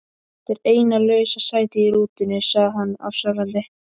Þetta er eina lausa sætið í rútunni sagði hann afsakandi.